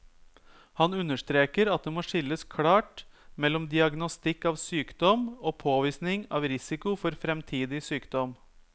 Han understreker at det må skilles klart mellom diagnostikk av sykdom og påvisning av risiko for fremtidig sykdom.